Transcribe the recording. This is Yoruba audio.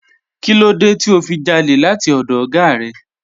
Kínlódé tí o fi jálè láti ọdọ̀ oga rẹ?